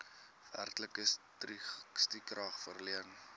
werklike stukrag verleen